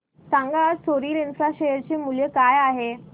सांगा आज Soril infra share चे मूल्य काय आहे